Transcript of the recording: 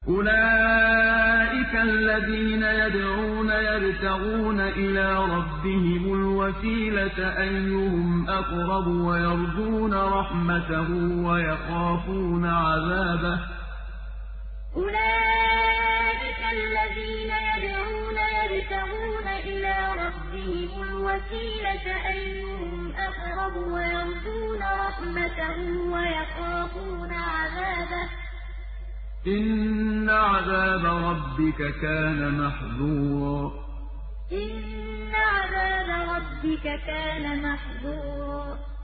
أُولَٰئِكَ الَّذِينَ يَدْعُونَ يَبْتَغُونَ إِلَىٰ رَبِّهِمُ الْوَسِيلَةَ أَيُّهُمْ أَقْرَبُ وَيَرْجُونَ رَحْمَتَهُ وَيَخَافُونَ عَذَابَهُ ۚ إِنَّ عَذَابَ رَبِّكَ كَانَ مَحْذُورًا أُولَٰئِكَ الَّذِينَ يَدْعُونَ يَبْتَغُونَ إِلَىٰ رَبِّهِمُ الْوَسِيلَةَ أَيُّهُمْ أَقْرَبُ وَيَرْجُونَ رَحْمَتَهُ وَيَخَافُونَ عَذَابَهُ ۚ إِنَّ عَذَابَ رَبِّكَ كَانَ مَحْذُورًا